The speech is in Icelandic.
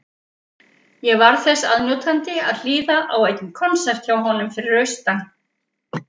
Ég varð þess aðnjótandi að hlýða á einn konsert hjá honum fyrir austan.